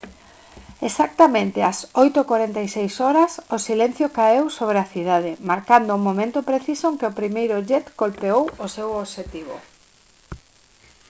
exactamente ás 8:46 h o silencio caeu sobre a cidade marcando o momento preciso en que o primeiro jet golpeou o seu obxectivo